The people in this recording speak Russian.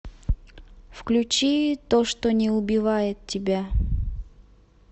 включи то что не убивает тебя